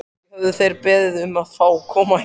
Ekki höfðu þeir beðið um að fá að koma hingað.